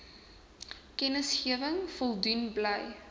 kennisgewing voldoen bly